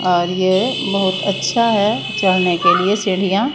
और ये बहुत अच्छा है चढ़ने के लिए सीढ़ियां--